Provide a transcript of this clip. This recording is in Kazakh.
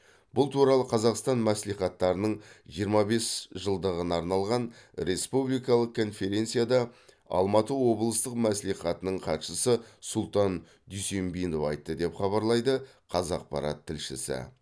бұл туралы қазақстан мәслихаттарының жиырма бес жылдығына арналған республикалық конференцияда алматы облыстық мәслихатының хатшысы сұлтан дүйсенбинов айтты деп хабарлайды қазақпарат тілшісі